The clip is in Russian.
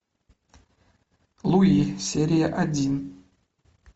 луи серия один